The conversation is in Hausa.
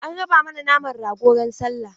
An raba mana naman rago ran sallah.